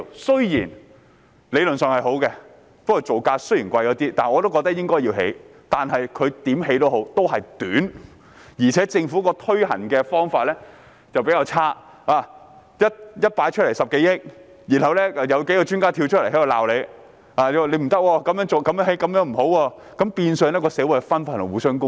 雖然理論上是好的，即使造價稍為昂貴，我仍認為應該要興建，但無論如何，天橋的設計也是短，而政府推行的方法也比較差，一提出來便說需要10多億元，然後數位專家出來指責政府，說這樣興建不好，令社會分化和互相攻擊。